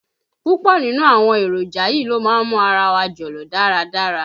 Púpọ̀ nínú àwọn èròjà yìí ló má ń mú ara wa jọ̀lọ̀ dáradára.